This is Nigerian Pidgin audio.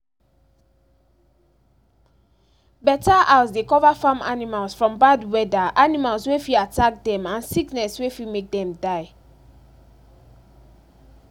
better house dey cover farm animals from bad weather animals wey fit attack dem and sickness wey fit make dem die